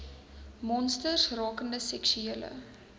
monsters rakende seksuele